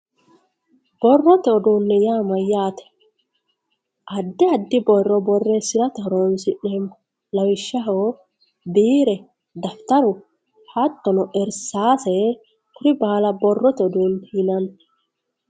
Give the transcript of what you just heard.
borrote uduunne ya mayyate addi addi borro borreessirate horonsi'neemmo lawishshaho biire dafitaru hattono irsaase kuri baala borrote uduunne yinanni.